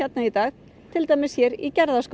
í dag til dæmis hér í